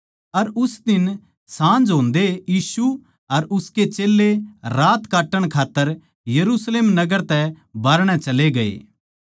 अर उस दिन साँझ होंदए यीशु अर उसके चेल्लें रात काट्टण खात्तर यरुशलेम नगर तै बाहरणै चले गये